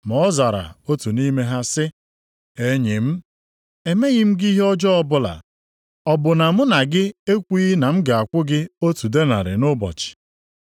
“Ma ọ zara otu nʼime ha sị, ‘Enyi m, emeghị m gị ihe ọjọọ ọbụla. Ọ bụ na mụ na gị ekwughị na m ga-akwụ gị otu denarị nʼụbọchị?